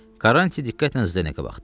Karrantin diqqətlə Zdenekə baxdı.